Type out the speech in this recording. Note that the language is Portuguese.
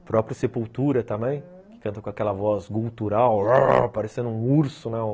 O próprio Sepultura também, que canta com aquela voz gutural, parecendo um urso, né?